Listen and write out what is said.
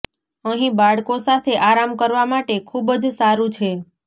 અહીં બાળકો સાથે આરામ કરવા માટે ખૂબ જ સારું છે